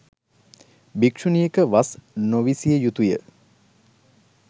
භික්‍ෂුණියක වස් නොවිසිය යුතු ය.